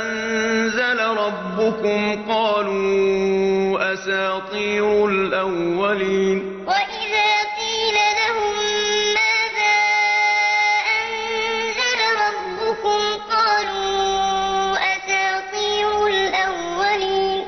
أَنزَلَ رَبُّكُمْ ۙ قَالُوا أَسَاطِيرُ الْأَوَّلِينَ وَإِذَا قِيلَ لَهُم مَّاذَا أَنزَلَ رَبُّكُمْ ۙ قَالُوا أَسَاطِيرُ الْأَوَّلِينَ